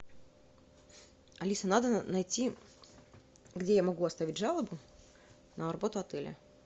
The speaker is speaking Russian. алиса надо найти где я могу оставить жалобу на работу отеля